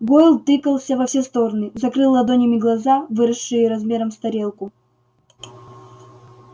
гойл тыкался во все стороны закрыл ладонями глаза выросшие размером с тарелку